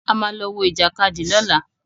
A ma lọ wọ Ìjàkadì lọ́la.